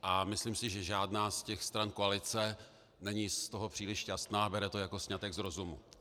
A myslím si, že žádná z těch stran koalice není z toho příliš šťastná, bere to jako sňatek z rozumu.